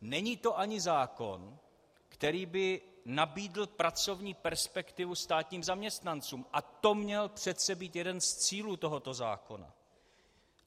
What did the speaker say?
Není to ani zákon, který by nabídl pracovní perspektivu státním zaměstnancům, a to měl přece být jeden z cílů tohoto zákona.